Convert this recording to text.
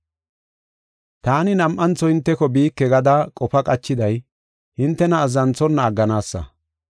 Taani nam7antho hinteko biike gada qofa qachiday hintena azzanthonna agganaasa.